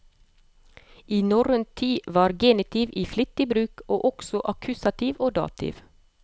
I norrøn tid var genitiv i flittig bruk, og også akkusativ og dativ.